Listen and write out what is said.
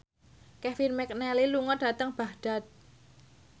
Kevin McNally lunga dhateng Baghdad